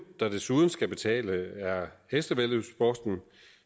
der desuden skal betale er hestevæddeløbssporten